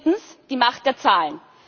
Viertens die Macht der Zahlen.